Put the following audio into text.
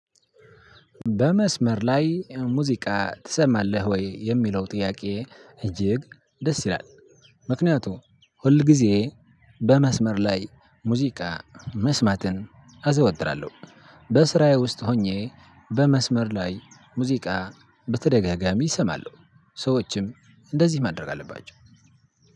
በመስመር ላይ ሙዚቃ ትሰማለህ ወይ የሚለው ጥያቄ? እጅግ ደስ ይላል። ምክንያቱም ሁል ጊዜ በመስመር ላይ ሙዚቃ መስማትን አዘወትራለሁ። በስራዬ ውስጥ ሆኜ በመስመር ላይ ሙዚቃ በተደጋጋሚእሰማለሁ። ሰዎችም እንደዚህ ማድረግ አለባቸው።